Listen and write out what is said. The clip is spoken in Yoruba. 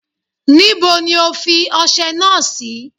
Níbo ni O fi ọsẹ náà sí?